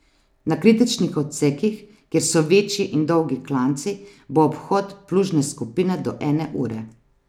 Na kritičnih odsekih, kjer so večji in dolgi klanci, bo obhod plužne skupine do ene ure.